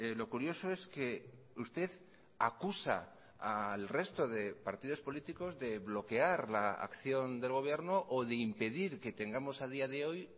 lo curioso es que usted acusa al resto de partidos políticos de bloquear la acción del gobierno o de impedir que tengamos a día de hoy